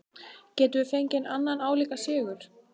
Gætum við fengið annan álíka sigur?